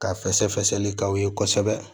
Ka fɛsɛfɛsɛli k'aw ye kosɛbɛ